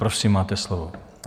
Prosím, máte slovo.